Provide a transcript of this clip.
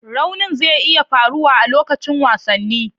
Raunin zai iya faruwa a lokacin wasanni.